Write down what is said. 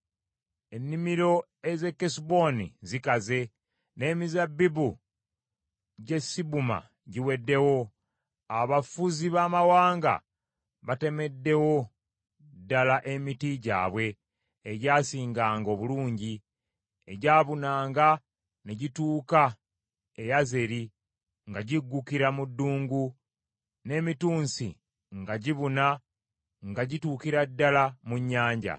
Ennimiro ez’e Kesuboni zikaze, n’emizabbibu gy’e Sibuma giweddewo. Abafuzi b’amawanga batemeddewo ddala emiti gyabwe egyasinganga obulungi, egyabunanga ne gituuka e Yazeri nga giggukira mu ddungu n’emitunsi nga gibuna nga gituukira ddala mu nnyanja.